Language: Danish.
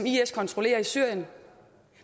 kontrollerer i syrien